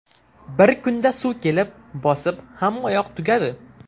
Bir kunda suv kelib, bosib, hammayoq tugadi.